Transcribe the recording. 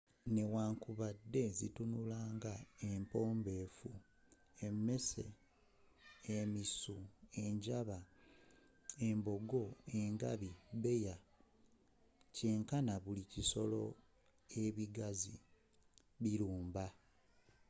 newankubadde zitunula nga empombefu emisu emmese enjaba embogo engabi bbeya kyenkana buli bisolo ebigazi bilumba